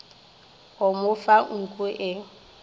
o mo fa nku e